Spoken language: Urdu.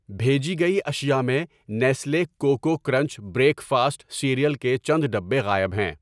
بھیجی گئی اشیاء میں Nestle Koko Krunch breakfast cereal کے چند ڈبے غائب ہیں۔